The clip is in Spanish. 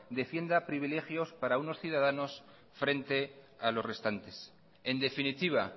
defienda privilegios para unos ciudadanos frente a los restantes en definitiva